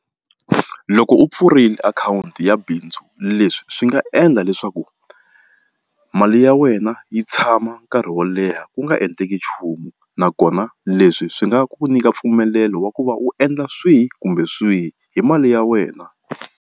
Loko u pfurile akhawunti ya bindzu leswi swi nga endla leswaku mali ya wena yi tshama nkarhi wo leha ku nga endleki nchumu nakona leswi swi nga ku nyika mpfumelelo wa ku va u endla swihi kumbe swihi hi mali ya wena.